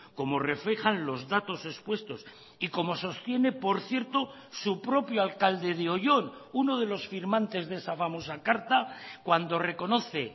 como reflejan los datos expuestos y como sostiene por cierto su propio alcalde de oyón uno de los firmantes de esa famosa carta cuando reconoce